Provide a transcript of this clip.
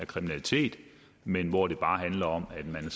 kriminalitet men hvor det bare handler om at man